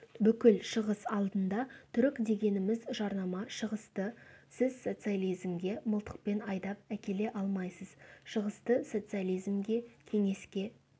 бүкіл шығыс алдында түрік дегеніміз жарнама шығысты сіз социализмге мылтықпен айдап әкеле алмайсыз шығысты социализмге кеңеске